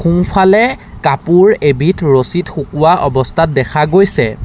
সোঁফালে কাপোৰ এবিধ ৰছীত শুকুৱা অৱস্থাত দেখা গৈছে।